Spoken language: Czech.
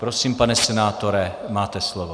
Prosím, pane senátore, máte slovo.